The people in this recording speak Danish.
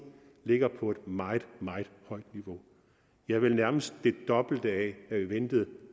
ligger på et meget meget højt niveau ja vel nærmest det dobbelte af